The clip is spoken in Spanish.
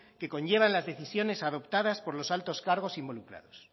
que conllevan las decisiones adoptadas por los altos cargos involucrados